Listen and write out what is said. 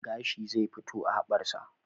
Gashi zai fito a haɓar sa